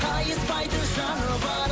қайыспайтын жаны бар